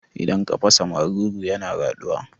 Idan ka fasa maruru yana yaɗuwa